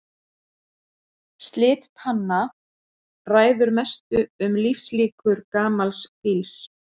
Slit tanna ræður mestu um lífslíkur gamals fíls.